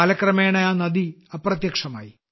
കാലക്രമേണ ആ നദി അപ്രത്യക്ഷമായി